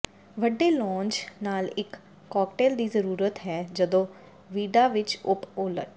ਵੱਡੇ ਲੌਂਜ ਨਾਲ ਇੱਕ ਕਾਕਟੇਲ ਦੀ ਜ਼ਰੂਰਤ ਹੈ ਜਦੋਂ ਵੀਡਾ ਵਿੱਚ ਉਪ ਉਲਟ